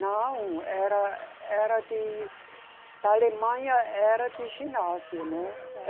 Não, era... era de... Da Alemanha era de ginásio, né? Ah, tá